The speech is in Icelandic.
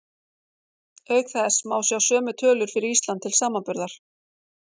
Auk þess má sjá sömu tölur fyrir Ísland til samanburðar.